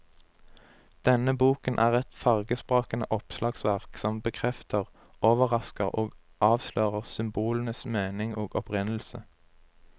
Denne boken er et fargesprakende oppslagsverk som bekrefter, overrasker og avslører symbolenes mening og opprinnelse.